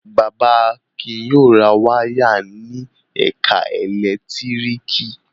Bàbá Akin yóò ra wáyà ní ẹ̀ka ẹ̀lẹ́tíríkì.